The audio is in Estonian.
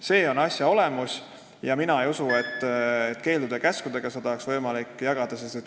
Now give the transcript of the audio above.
See on asja olemus ja mina ei usu, et keeldude-käskudega oleks seda võimalik teha.